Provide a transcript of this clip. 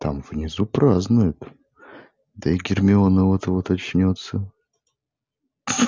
там внизу празднуют да и гермиона вот-вот очнётся